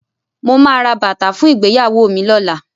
Mo máa ra bàtà fún ìgbéyàwó mi lọ́la.